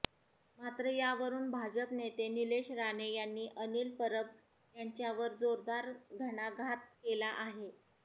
मात्र यावरून भाजप नेते निलेश राणे यांनी अनिल परब यांच्यावर जोरदार घणाघात केला आहे